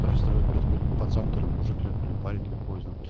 пацан мужик или парень для